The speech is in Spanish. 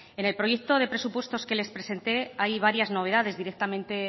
en el proyecto de presupuestos que les presenté hay varias novedades directamente